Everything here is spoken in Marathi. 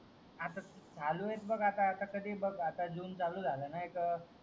आता चालू आहे बघ आता कधी बघ आता जून चालू झाला ना एक